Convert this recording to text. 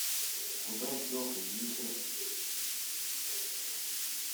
куда делся гитлер